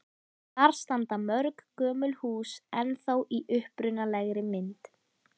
Þar standa mörg gömul hús ennþá í upprunalegri mynd.